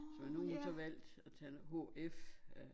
Så nu hun så vaægt at tage en hf ja